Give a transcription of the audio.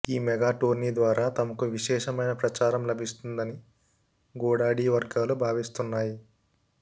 ఈ mega tourney ద్వారా తమకు విశేషమైన ప్రచారం లభిస్తుందని గోడాడీ వర్గాలు భావిస్తున్నాయి